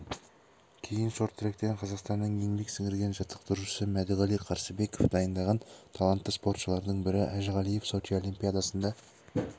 кейін шорт-тректен қазақстанның еңбек сіңірген жаттықтырушысы мәдіғали қарсыбеков дайындаған талантты спортшылардың бірі әжіғалиев сочи олимпиадасында